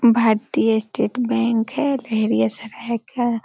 भारतीय state bank है --